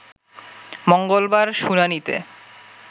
মঙ্গলবার শুনানিতে